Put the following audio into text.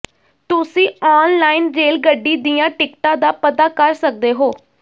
ਤੁਸੀਂ ਆਨਲਾਈਨ ਰੇਲਗੱਡੀ ਦੀਆਂ ਟਿਕਟਾਂ ਦਾ ਪਤਾ ਕਰ ਸਕਦੇ ਹੋ